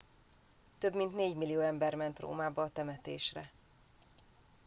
több mint négymillió ember ment rómába a temetésre